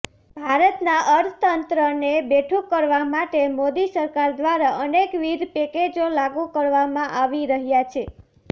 ભારતનાં અર્થતંત્રને બેઠુ કરવા માટે મોદી સરકાર દ્વારા અનેકવિધ પેકેજો લાગુ કરવામાં આવી રહ્યા છે